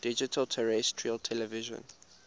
digital terrestrial television